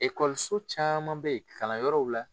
caman be yen, kalanyɔrɔw la